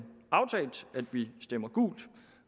vi stemmer gult